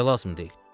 Niyə lazım deyil?